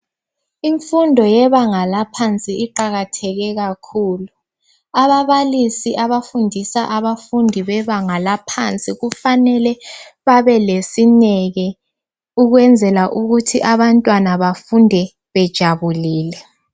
Imfundo yebanga eliphansi iqakatheke kakhulu ababalisi abafundisa abafundi bebanga laphansi kufanele babe lesineke ukwenzela ukuthi abantwana befunde bejabulile